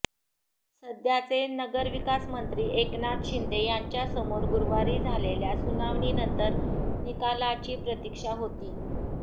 सध्याचे नगरविकासमंत्री एकनाथ शिंदे यांच्यासमोर गुरुवारी झालेल्या सुनावणीनंतर निकालाची प्रतीक्षा होती